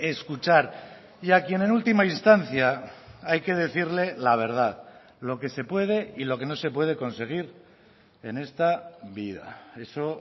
escuchar y a quien en última instancia hay que decirle la verdad lo que se puede y lo que no se puede conseguir en esta vida eso